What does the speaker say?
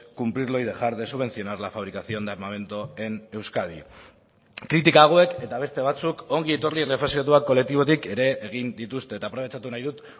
cumplirlo y dejar de subvencionar la fabricación de armamento en euskadi kritika hauek eta beste batzuk ongi etorri errefuxiatuak kolektibotik ere egin dituzte eta aprobetxatu nahi dut